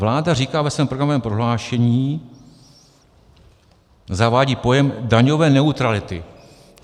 Vláda říká ve svém programovém prohlášení - zavádí pojem daňové neutrality.